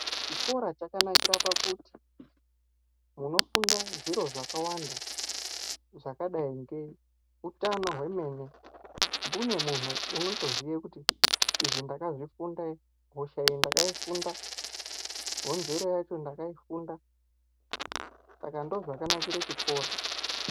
Chikora chakanakira pakuti munofunda zviro zvakawanda zvakadai ngeutano hwemene. Mbune vantu vanotoziye kuti izvi ndakazvifunda izvi, hosha iyi ndakaifunda honzero yacho ndakaifunda. Saka ndozvakanakire chikora.